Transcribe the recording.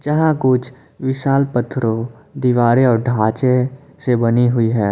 यह कुछ विशाल पत्थरों दीवारें और ढांचे से बनी हुई है।